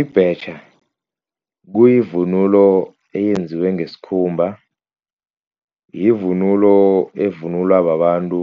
Ibhetjha kuyivunulo eyenziwe ngesikhumba, yivunulo evunulwa babantu